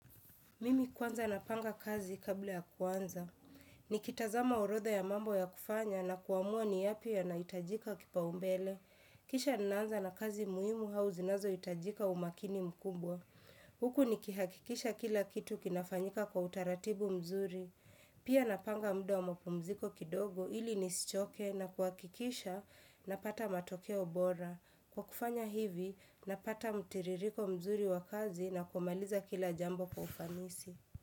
Mimi kwanza napanga kazi kabla ya kwanza. Nikitazama orodha ya mambo ya kufanya na kuamua ni yapi ya naitajika kipaumbele. Kisha ninaanza na kazi muhimu hauzinazo itajika umakini mkumbwa. Huku nikihakikisha kila kitu kinafanyika kwa utaratibu mzuri. Pia napanga muda wa mapumziko kidogo ili nisichoke na kuakikisha na pata matokea obora. Kwa kufanya hivi, napata mutiririko mzuri wakazi na kumaliza kila jambo kwa ufanisi.